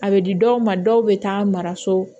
A bɛ di dɔw ma dɔw bɛ taa mara so